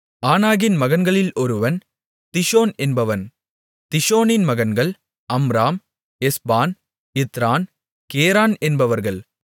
ஆனாகின் மகன்களில் ஒருவன் திஷோன் என்பவன் திஷோனின் மகன்கள் அம்ராம் எஸ்பான் இத்தரான் கெரான் என்பவர்கள்